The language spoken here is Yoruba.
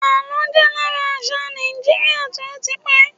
àlọ jé lára àṣà Naijiria ti o ti pẹ